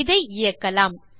இதை இயக்கலாம்